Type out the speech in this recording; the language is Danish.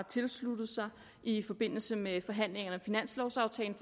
tilsluttet sig i forbindelse med forhandlingerne om finanslovaftalen